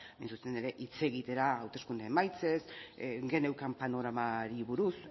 hain zuzen ere hitz egitera hauteskunde emaitzez geneukan panoramari buruz